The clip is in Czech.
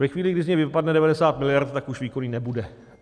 Ve chvíli, kdy z něj vypadne 90 mld., tak už výkonný nebude.